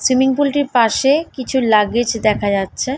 Swimming pool -টির পাশে-এ কিছু লাগেজ দেখা যাচ্ছে।